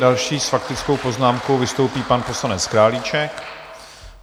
Další s faktickou poznámkou vystoupí pan poslanec Králíček.